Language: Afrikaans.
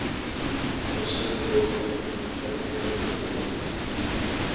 versinnebeeld uitnemende talent